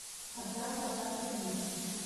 одна квадратная миля